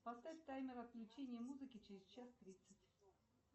поставь таймер отключения музыки через час тридцать